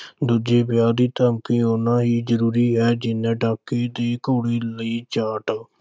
ਦੂਜੇ ਵਿਆਹ ਦੀ ਧਮਕੀ ਉਨੀ ਹੀ ਜ਼ਰੂਰੀ ਹੈ ਜਿੰਨਾ